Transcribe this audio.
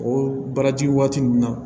O baaraji waati ninnu na